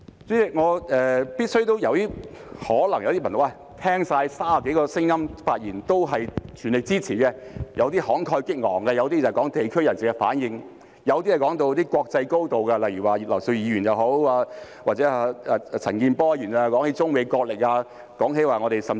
代理主席，有些朋友可能會說，聽了30多位議員的發言，也是全力支持的，有些慷慨激昂，有些提到地區人士的反應，有些談到國際高度，例如葉劉淑儀議員和陳健波議員便談到中美角力，甚至提到......